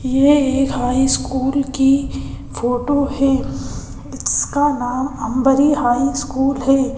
यह एक high school की फोटो है इसका नामअंबरी हाई स्कूल है।